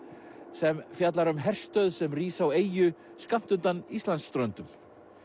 sem fjallar um herstöð sem rís á eyju skammt undan Íslandsströndum